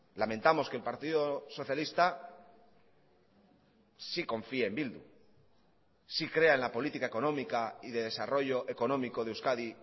lamentamos que el partido socialista sí confíe en bildu sí crea en la política económica y de desarrollo económico de euskadi